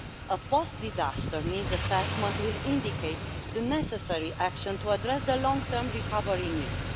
A post disaster needs assessment will indicate the necessary action to address the long term recovery needs.